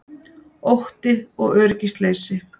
Ótti og öryggisleysi